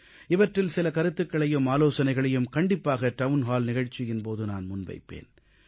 இவற்றில் சில கருத்துக்களையும் ஆலோசனைகளையும் கண்டிப்பாக டவுன் ஹால் நிகழ்ச்சியின் போது நான் முன்வைப்பேன்